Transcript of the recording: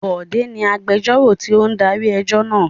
Bọ̀dé ni agbẹjọ́rò tí ó darí ẹjọ́ náà.